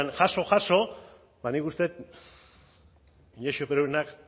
jaso jaso ba nik uste dut inaxio perurenak